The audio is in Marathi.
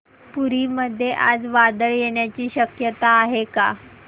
पुरी मध्ये आज वादळ येण्याची शक्यता आहे का